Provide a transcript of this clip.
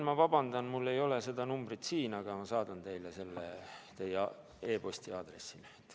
Ma vabandan, mul ei ole seda numbrit siin kirjas, aga ma saadan selle teie e-posti aadressile.